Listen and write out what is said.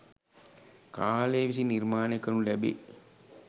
කාලය විසින් නිර්මාණය කරනු ලැබේ.